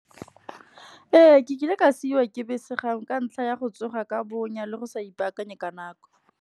Ee ke kile ka siwa ke bese gangwe ka ntlha ya go tsoga ka bonya, le go sa ipaakanye ka nako.